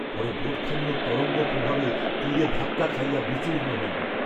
পরে বোটখানিও তরঙ্গ প্রভাবে তীরে ধাক্কা খাইয়া বিচূর্ণ হইল।